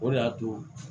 O de y'a to